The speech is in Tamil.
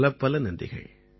பலப்பல நன்றிகள்